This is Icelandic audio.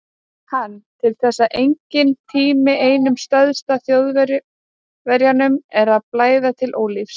Hann: til þess er enginn tími, einum særða Þjóðverjanum er að blæða til ólífis